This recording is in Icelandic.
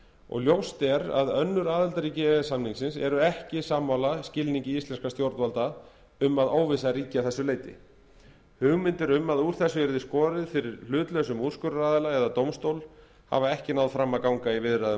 og ljóst er að önnur aðildarríki e e s samningsins eru ekki sammála skilningi íslenskra stjórnvalda um að óvissa ríki að þessu leyti hugmyndir um að úr þessu yrði skorið fyrir hlutlausum úrskurðaraðila eða dómstól hafa ekki náð fram að ganga í viðræðum